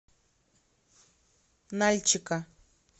нальчика